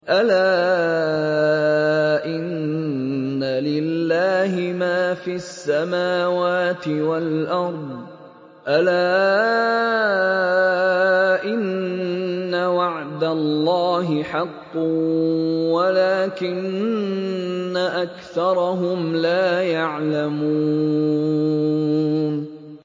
أَلَا إِنَّ لِلَّهِ مَا فِي السَّمَاوَاتِ وَالْأَرْضِ ۗ أَلَا إِنَّ وَعْدَ اللَّهِ حَقٌّ وَلَٰكِنَّ أَكْثَرَهُمْ لَا يَعْلَمُونَ